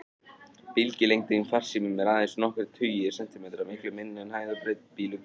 Bylgjulengdin farsímum er aðeins nokkrir tugir sentimetra, miklu minni en hæð og breidd bílglugganna.